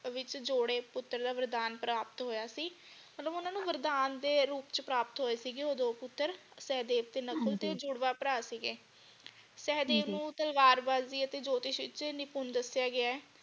ਵਿਚ ਜੋੜੇ ਪੁੱਤਰ ਦਾ ਵਰਦਾਨ ਪ੍ਰਾਪਤ ਹੋਇਆ ਸੀ ਮਤਲਬ ਓਹਨਾ ਨੂੰ ਵਰਦਾਨ ਦੇ ਰੂਪ ਚੇ ਪ੍ਰਾਪਤ ਹੋਏ ਸੀ ਉਹ ਦੋ ਪੁੱਤਰ ਸੇਹਦੇਵ ਤੇ ਨਕੁਲ ਹਾਂਜੀ ਤੇ ਉਹ ਜੁੜਵਾ ਭਰਾ ਸੀਗੇ ਹਾਂਜੀ ਸੇਹਦੇਵ ਨੂੰ ਤਲਵਾਰਬਾਜ਼ੀ ਅਤੇ ਜੋਤਿਸ਼ ਵਿਚ ਨਿਪੁਨ ਦਸਿਆ ਗਿਆ ਹੈ।